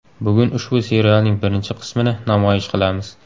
Bugun ushbu serialning birinchi qismini namoyish qilamiz.